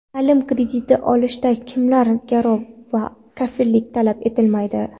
Taʼlim krediti olishda kimlardan garov va kafillik talab etilmaydi?.